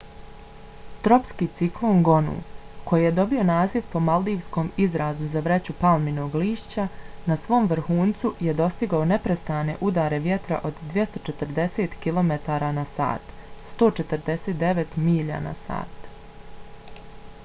tropski ciklon gonu koji je dobio naziv po maldivskom izrazu za vreću palminog lišća na svom vrhuncu je dostigao neprestane udare vjetra od 240 kilometara na sat 149 milja na sat